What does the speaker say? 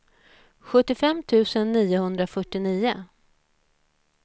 sjuttiofem tusen niohundrafyrtionio